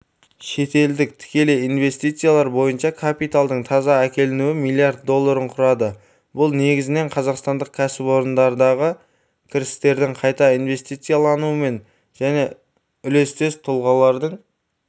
шетелдік тікелей инвестициялар бойынша капиталдың таза әкелінуі млрд долларын құрады бұл негізінен қазақстандық кәсіпорындардағы кірістердің қайта инвестициялануымен және үлестес тұлғалардың